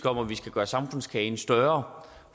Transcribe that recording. om at vi skal gøre samfundskagen større